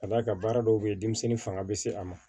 Ka d'a kan baara dɔw bɛ ye denmisɛnnin fanga bɛ se a ma